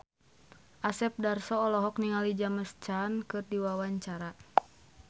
Asep Darso olohok ningali James Caan keur diwawancara